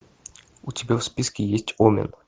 у тебя в списке есть омен